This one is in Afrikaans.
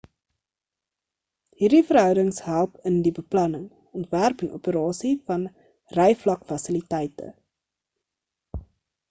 hierdie verhoudings help in die beplanning ontwerp en operasie van ryvlakfasiliteite